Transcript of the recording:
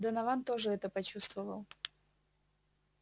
донован тоже это почувствовал